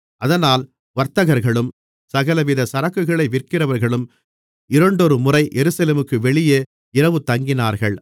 அதனால் வர்த்தகர்களும் சகலவித சரக்குகளை விற்கிறவர்களும் இரண்டொருமுறை எருசலேமுக்கு வெளியே இரவுதங்கினார்கள்